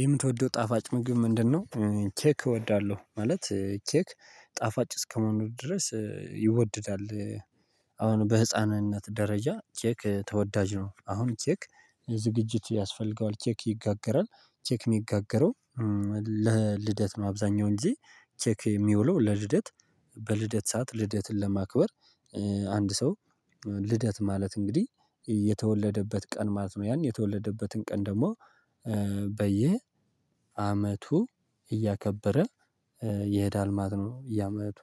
የምትወደው ጣፋጭ ምግብ ምንድነው? ኬክ እወዳለሁ ማለት ኬክ ጣፋጭ እስከመሆኑ ድረስ ይወድዳል። አሁን በህፃንነት ደረጃ ኬክ ተወዳጅ ነው። አሁን ኬክ ዝግጅት ያስፈልገዋል ኬክ ይጋገራል ኬክ የሚጋገረው ለልደት ነው። አብዛኛውን ጊዜ ኬክ የሚውለው ለልደት በልደት ሰዓት ልደትን ለማክበር። አንድ ሰው ልደት ማለት እንግዲህ የተወለደበት ቀን ማለት ነው። የተወለደበትን ቀን ደግሞ በየ አመቱ እያከበረ የሄዳል ማለት ነው። የአመቱ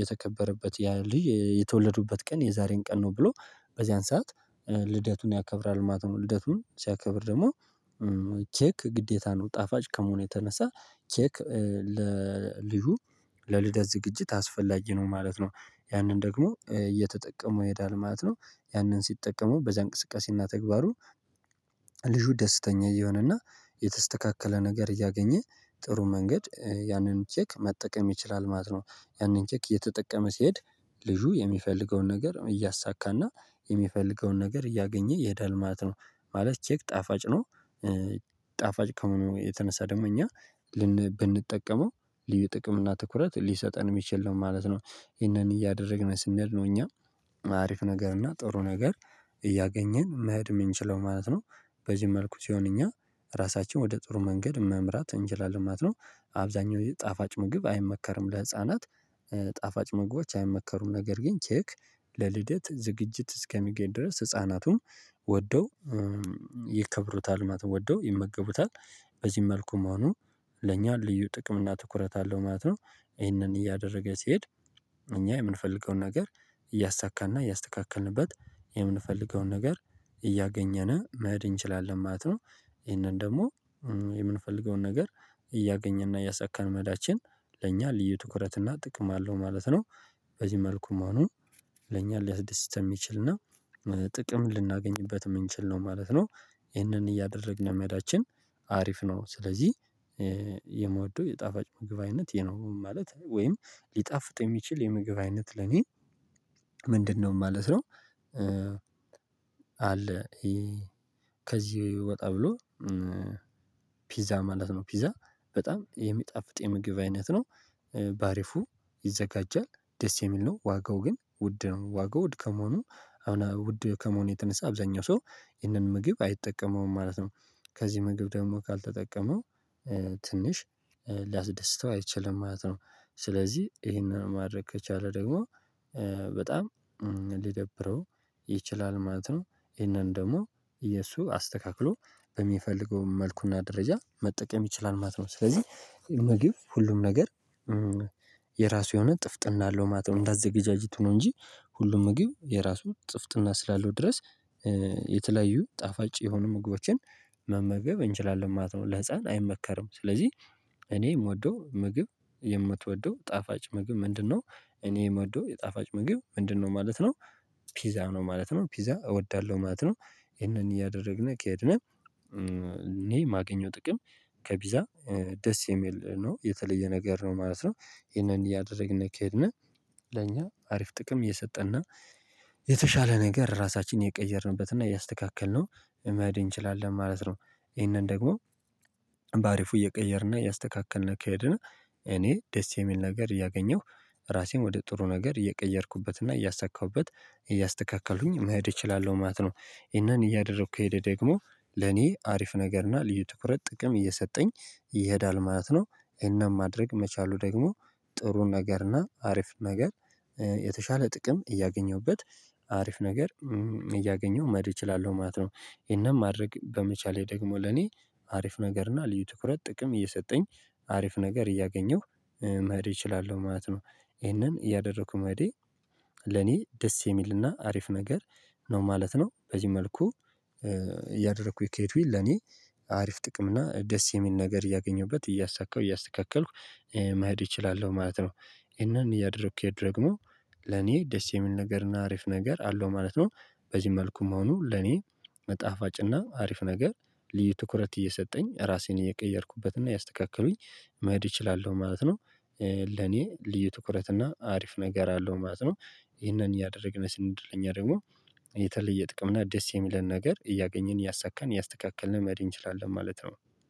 የተከበረበት ያ ልጅ የተወለዱበት ቀን የዛሬን ቀን ነው ብሎ በዚያን ሰዓት። ልደቱን ያከብራል ማለት ነው ልደቱን ሲያከብር ደግሞ ኬክ ግዴታ ነው። ጣፋጭ ከመሆኑ የተነሳ ኬክ ለልጁ ለልደት ዝግጅት አስፈላጊ ነው ማለት ነው። ያንን ደግሞ እየተጠቀመ የሄዳል ማለት ነው ያንን ሲጠቀሙ በዚህ እንቅስቃሴና ተግባሩ። ልጁ ደስተኛ እየሆነና የተስተካከለ ነገር እያገኘ ጥሩ መንገድ ያንን ኬክ መጠቀም ይችላል ማለት ነው። ያንን ኬክ እየተጠቀመ ሲሄድ ልጁ የሚፈልገውን ነገር እያሳካና የሚፈልገውን ነገር እያገኝ ይሄዳል ማለት ነው። ማለት ኬክ ጣፋጭ ነው። ጣፋጭ ከመሆኑጭ የተነሳ ደግሞ እኛ ብንጠቀመው ልዩ ጥቅም እና ትኩረት ሊሰጠን የሚችል ነው ማለት ነው። ይሄንን እያደረግን ስንል ነው እኛ አሪፍ ነገር እና ጥሩ ነገር እያገኝን መሄድ የምንችለው ማለት ነው። በዚህ መልኩ ሲሆን እኛ ራሳችን ወደ ጥሩ መንገድ መምራት እንችላለን ማለት ነው። አብዛኛው ጣፋጭ ምግብ አይመከርም ለህፃናት ጣፋጭ ምግቦች አይመከሩም። ነገር ግን ኬክ ለልደት ዝግጅት እስከሚገኝ ድረስ ህፃናቱን ወደው ያከብሩታል ማለት ወደው ይመገቡታል። በዚህ መልኩ መሆኑ ለኛ ልዩ ጥቅም እና ትኩረት አለው ማለት ነው። ይሄንን እያደረገ ሲሄድ እኛ የምንፈልገውን ነገር እያሳካንና እያስተካከልንበት የምንፈልገውን ነገር እያገኘን መሄድ እንችላለን ማለት ነው። ይሄንን ደግሞ የምንፈልገውን ነገር እያገኝና እያሳከን መዳችን ለእኛ ልዩ ትኩረትና ጥቅም አለው ማለት ነው። በዚህ መልኩ መሆኑ ለእኛ ሊያስደስተን የሚችል እና ጥቅም ልናገኝበት የምንችል ነው ማለት ነው። ይህንን እያደረግን መሄዳችን አሪፍ ነው። ስለዚህ የምወደው የጣፋጭ ምግብ አይነት ነው ማለት ወይም ሊጣፍጥ የሚችል የምግብ አይነት ለኔ ምንድነው ማለት ነው። አለ ከዚህ ወጣ ብሎ ፒዛ ማለት ነው ፒዛ በጣም የሚጣፍጥ የምግብ አይነት ነው። በአሪፉ ይዘጋጃል ደስ የሚል ነው ዋጋው ግን ውድ ነው ዋጋው ውድ ከመሆኑ ውድ ከመሆኑ የተነሳ አብዛኛው ሰው ይህንን ምግብ አይጠቀመውም ማለት ነው። ከዚህ ምግብ ደግሞ ካልተጠቀመው ትንሽ ሊያስደስተው አይችልም ማለት ነው። ስለዚህ ይሄንን ማድረግ ከቻለ ደግሞ በጣም ሊደብረው ይችላል ማለት ነው። ይሄንን ደግሞ የሱ አስተካክሎ በሚፈልገው መልኩና ደረጃ መጠቀም ይችላል ማለት ነው። ስለዚህ ምግብ ሁሉም ነገር የራሱ የሆነ ጥፍጥና አለው ማለት ነው። እንዳዘጋጃጅቱ ነው እንጂ ሁሉም ምግብ የራሱ ፅፍትና ስላለው ድረስ የተለያዩ ጣፋጭ የሆኑ ምግቦችን መመገብ እንችላለን ማለት ነው። ለህፃን አይመከርም ስለዚህ እኔ የምወደው ምግብ የምትወደው ጣፋጭ ምግብ ምንድነው? እኔ የምወደው የጣፋጭ ምግብ ምንድነው ማለት ነው ፒዛ ነው ማለት ነው ፒዛ እወዳለሁ ማለት ነው። ይሄንን እያደረግን ከሄድን እኔ የማገኘው ጥቅም ከፒዛ ደስ የሚል ነው የተለየ ነገር ነው ማለት ነው። ይሄንን ያደረግን ከሄድን ለኛ አሪፍ ጥቅም እየሰጠንና የተሻለ ነገር ራሳችንን የቀየርንበትና ያስተካከልነው መሄድ እንችላለን ማለት ነው። ይሄንን ደግሞ በአሪፉ እየቀየርን እያስተካከልን ከሄድን እኔ ደስ የሚል ነገር እያገኝሁ ራሴን ወደ ጥሩ ነገር እየቀየርኩበትና እያሳካሁበት እያስተካከልኩኝ መሄድ እችላለሁ ማለት ነው። ይሄንን እያደረኩ ከሄደ ደግሞ ለኔ አሪፍ ነገርና ልዩ ትኩረት ጥቅም እየሰጠኝ ይሄዳል ማለት ነው። ይህን ማድረግ መቻሉ ደግሞ ጥሩን ነገርና አሪፍ ነገር የተሻለ ጥቅም እያገኘሁበት አሪፍ ነገር እያገኘሁ መድህ እችላለሁ ማለት ነው። ይሄንን ማድረግ በመቻሌ ደግሞ ለኔ አሪፍ ነገር እና ልዩ ትኩረት ጥቅም እየሰጠኝ አሪፍ ነገር እያገኝሁ መሄድ ይችላል ማለት ነው። ይሄንን ያደረኩት መሄድ ለኔ ደስ የሚልና አሪፍ ነገር ነው ማለት ነው። በዚህ መልኩ እያደረኩኝ ከሄድኩኝ ለኔ አሪፍ ጥቅም እና ደስ የሚል ነገር እያገኘሁበት እያሳካሁ እያስተካከልኩ መሄድ እችላለሁ ማለት ነው። ይህን እያደረኩኝ ደግሞ ለኔ ደስ የሚል ነገርና አሪፍ ነገር አለው ማለት ነው። በዚህ መልኩም መሆኑ ለኔ መጣፋጭና አሪፍ ነገር ልዩ ትኩረት እየሰጠኝ ራሴን እየቀየርኩበትና ያስተካከሉኝ መሄድ እችላለሁ ማለት ነው። ለኔ ልዩ ትኩረት እና አሪፍ ነገር አለው ማለት ነው። ይህንን እያደረግን ስንሄድ ለኛ ደግሞ የተለየ ጥቅም እና ደስ የሚለን ነገር እያገኝን እያሳካን እያስተካከልን መሄድ እንችላለን ማለት ነው።